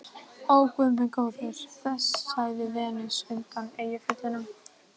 Ó, guð minn góður, sagði Venus undan Eyjafjöllum.